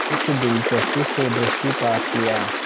इस दिलचस्पी से दृष्टिपात किया